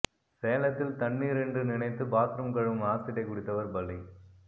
சேலத்தில் தண்ணீர் என்று நினைத்து பாத்ரூம் கழுவும் ஆசிட்டை குடித்தவர் பலி